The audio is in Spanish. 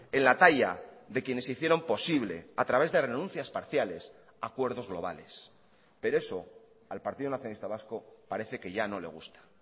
en la talla de quienes hicieron posible a través de renuncias parciales acuerdos globales pero eso al partido nacionalista vasco parece que ya no le gusta